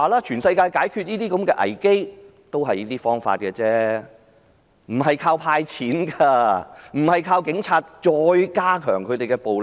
全世界解決這類危機均用這些方法，不是依靠"派錢"，不是再加強警察的暴力。